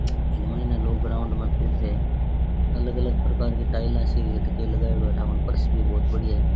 इन माईन ने लोग ग्राउंड मा फिर रिया है अलग अलग प्रकार की टाईला सी काई के लगायो है ठा कोनी फर्श भी बहुत बढ़िया है।